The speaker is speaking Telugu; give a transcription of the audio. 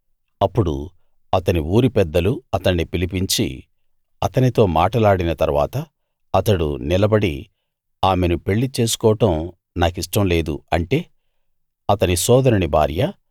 అప్పుడు అతని ఊరి పెద్దలు అతణ్ణి పిలిపించి అతనితో మాటలాడిన తరువాత అతడు నిలబడి ఆమెను పెళ్ళిచేసుకోవడం నా కిష్టం లేదు అంటే అతని సోదరుని భార్య